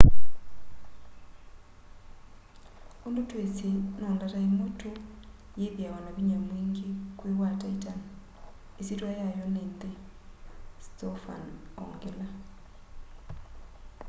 undu twisi no ndata imwe tu yithiawa na vinya mwingi kwi wa titan isyitya yayo ni nthi stofan ongela